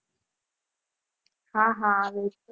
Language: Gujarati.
હા હા આવે છે.